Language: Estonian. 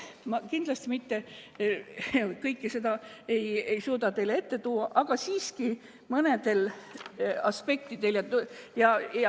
Ma kindlasti kõike ei suuda teie ette tuua, aga siiski peatun mõnel aspektil.